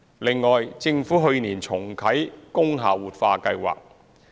另外，政府去年重啟工廈活化計劃。